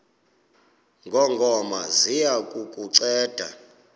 ngongoma ziya kukunceda